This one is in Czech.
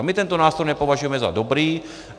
A my tento nástroj nepovažujeme za dobrý.